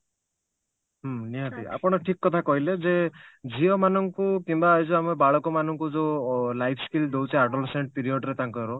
ହୁଁ ନିହାତି ଆପଣ ଠିକ କଥା କହିଲେ ଯେ ଝିଅ ମାନଙ୍କୁ କିମ୍ବା ଏଇ ଯଉ ଆମର ବାଳକ ମାନଙ୍କୁ ଯଉ ଅ life skill ଦଉଛେ adolescence period ରେ ତାଙ୍କର